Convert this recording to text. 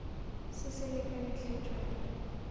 se se lekane hle tšwela